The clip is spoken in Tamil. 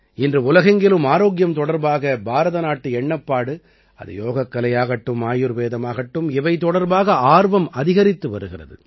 இன்று உலகெங்கிலும் ஆரோக்கியம் தொடர்பாக பாரதநாட்டு எண்ணப்பாடு அது யோகக்கலையாகட்டும் ஆயுர்வேதமாகட்டும் இவை தொடர்பாக ஆர்வம் அதிகரித்து வருகிறது